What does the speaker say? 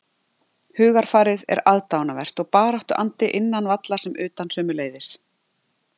Hugarfarið er aðdáunarvert og baráttuandi innan vallar sem utan sömuleiðis.